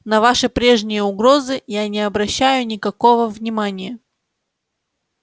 на ваши прежние угрозы я не обращаю никакого внимания